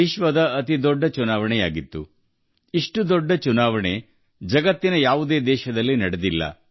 65 ಕೋಟಿ ಜನರು ಮತ ಚಲಾಯಿಸಿದ ಇಷ್ಟು ಬಹುದೊಡ್ಡ ಚುನಾವಣೆ ಜಗತ್ತಿನ ಯಾವ ದೇಶದಲ್ಲೂ ನಡೆದಿಲ್ಲ